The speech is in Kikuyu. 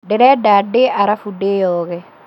Ndĩrenda ndĩe arafu ndĩoge